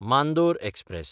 Mandore express